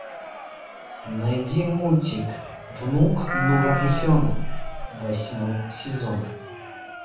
найди мультик внук нурарихена восьмой сезон